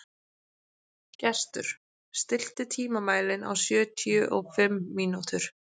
Gestur, stilltu tímamælinn á sjötíu og fimm mínútur.